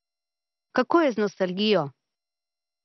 Kako je z nostalgijo?